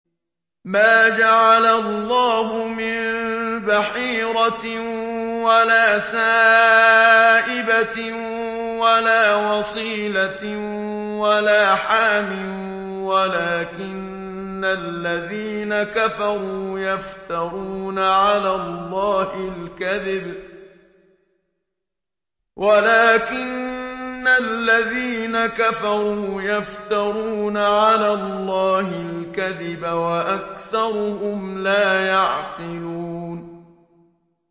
مَا جَعَلَ اللَّهُ مِن بَحِيرَةٍ وَلَا سَائِبَةٍ وَلَا وَصِيلَةٍ وَلَا حَامٍ ۙ وَلَٰكِنَّ الَّذِينَ كَفَرُوا يَفْتَرُونَ عَلَى اللَّهِ الْكَذِبَ ۖ وَأَكْثَرُهُمْ لَا يَعْقِلُونَ